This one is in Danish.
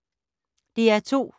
DR2